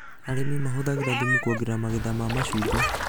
Arĩmi mahũthagĩra thumu kuongerera magetha ma macungwa